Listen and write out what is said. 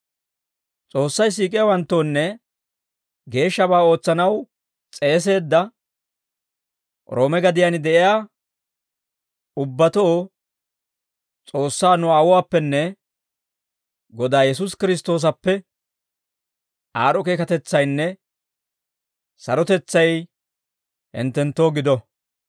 S'oossay siik'iyaawanttoonne geeshshabaa ootsanaw s'eeseedda Roome gadiyaan de'iyaa ubbatoo S'oossaa nu Aawuwaappenne Godaa Yesuusi Kiristtoosappe aad'd'o keekatetsaynne sarotetsay hinttenttoo gido.